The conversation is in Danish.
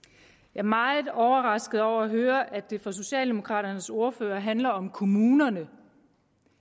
er meget overrasket over at høre at det for socialdemokraternes ordfører handler om kommunerne